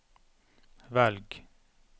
velg